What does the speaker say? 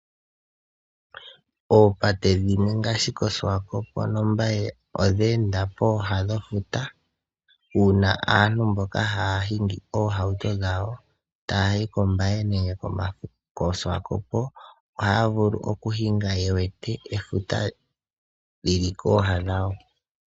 Oopate dhimwe ngaashi koSwakopo noMbaye odhe enda pooha dhefuta, uuna aantu mboka haya hingi oohauto dhawo taya yi koMbaye nenge koSwakopo ohaya vulu okuhinga ye wete efuta lili kooha dhawo.